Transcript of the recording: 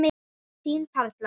Þín Perla.